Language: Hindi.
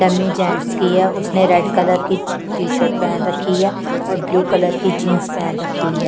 डम्मी जेंट्स की है उसने रेड कलर की टी-शर्ट पहन रखी है और ब्लू कलर की जींस पहन रखी है।